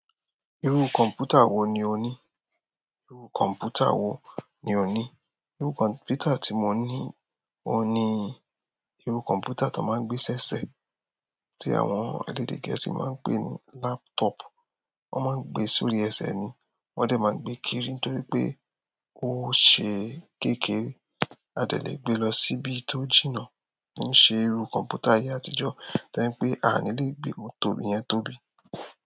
Irú kọ̀mpútà wo ni o ní? Irú kọ̀mpútà wo ni o ní? Irú kọ̀mpútà tí mo ni oun ni irú kọ̀mpútà tó ń máa ń gbé sí ẹsẹ̀ ti àwọn elédè gẹ̀ẹ́sì máa ń pè ní laptop. Wọ́n ń máa ń gbé sí orí ẹsẹ̀ ni wọ́n dẹ̀ máa ń gbé kiri ntoripe ose kékeré. A dè lè gbé lọ síbi tó jìnnà. Kì ṣe irú kọ̀mpútà ayé àtijọ́, tó jẹ́ pé a ní lè gbé wo torí iyẹn tóbi.